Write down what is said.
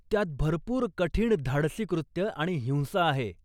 त्यात भरपूर कठीण धाडसी कृत्य आणि हिंसा आहे.